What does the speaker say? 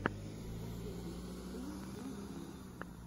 последняя серия слогомэн